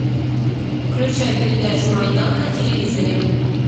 включай передачу майдан на телевизоре